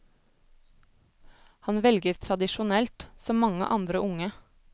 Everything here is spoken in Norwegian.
Han velger tradisjonelt, som mange andre unge.